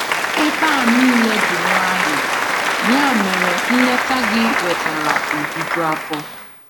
Ebe a niile dị nwayọ, ya mere nleta gị wetara ojuju afọ.